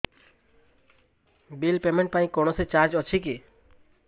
bill payment ପାଇଁ କୌଣସି charge ଅଛି କି